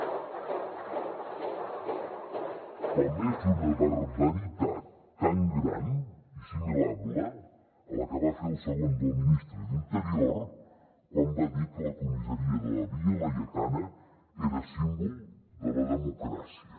) com és una barbaritat tan gran i assimilable a la que va fer el segon del ministre d’interior quan va dir que la comissaria de la via laietana era símbol de la democràcia